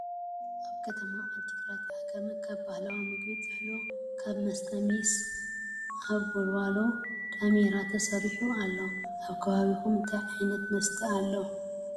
አብ ከተማ ዓዲ ግራት ዓጋመ ካብ ባህላዊ ምግቢ ጥሕሎ ካብ መሰተ ሜሰ አብ ወልዋሎ ዳሜራ ተሰርሑ አሎ ።? አብ ከባቢኩም እንታይ ዓይነት መሰተ አለኩ?